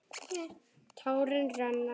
Tárin renna.